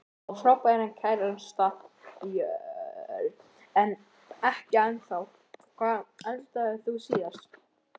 Á frábæran kærasta Börn: Ekki ennþá Hvað eldaðir þú síðast?